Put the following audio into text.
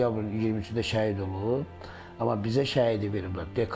Oktyabrın 23-də şəhid olub, amma bizə şəhidi verməyiblər.